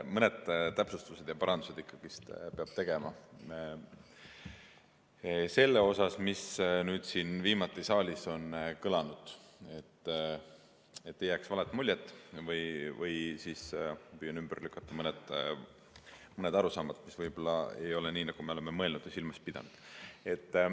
Mõned täpsustused ja parandused ikkagi peab tegema selle kohta, mis siin viimati saalis on kõlanud, et ei jääks valet muljet, või ma püüan ümber lükata mõned arusaamad, mis võib-olla ei ole need, mida me oleme mõelnud ja silmas pidanud.